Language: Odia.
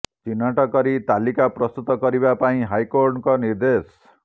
ଚିହ୍ନଟ କରି ତାଲିକା ପ୍ରସ୍ତୁତ କରିବା ପାଇଁ ହାଇକୋର୍ଟଙ୍କ ନିର୍ଦ୍ଦେଶ